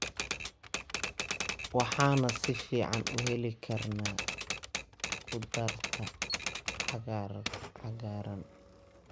Waxaan si fiican u heli karnaa khudaarta cagaaran.